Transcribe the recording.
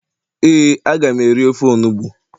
ee, a ga m eri ofe onugbu